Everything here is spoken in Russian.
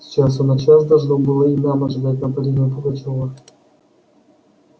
с часу на час должно было и нам ожидать нападения пугачёва